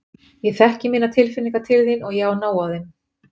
Ég þekki mínar tilfinningar til þín og ég á nóg af þeim.